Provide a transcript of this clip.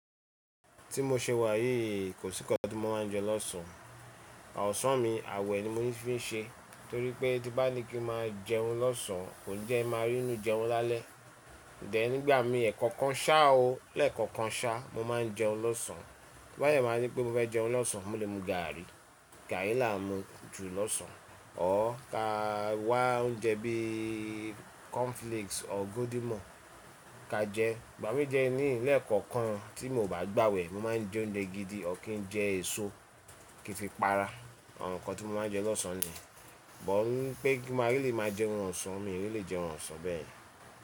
Tí mo ṣe wà yí, kò sí nkán tí mo máa ń jẹ lọ́sàn. Osàn mi àwẹ̀ ni mo fi ń ṣe, torí pé tí bá ní kí máa jẹun lọ́sàn, kò ní jẹ́ n máa rí'nú jẹun lálẹ́. Then nígbà mí ẹ̀ kankan ṣá o, lẹ́ẹ̀kọ̀kan ṣá mo máa ń jẹun lọ́sàn. Tó bá dẹ̀ má di pé mo fẹ́ jẹun lọ́sàn, mo lè mu gààrí. Gààrí làá mu jù lọ́sàn. Or ka wá oúnjẹ bíi cornflakes or golden morn ka jẹ. Ìgbà mí de niyii lẹ̀ kọ̀ọ̀kan tí mi ò bá gbàwẹ̀, mo máa ń jẹ oúnjẹ gidi, ọ̀r kín jẹ èso kí n fi para. Àwọn nǹkan tí mo máa ń jẹ lọ́sàn ni. But wípé kí mo á lè máa jẹun ọ̀sán, mi ò ní lè jẹun ọ̀sán bẹ́ẹ̀.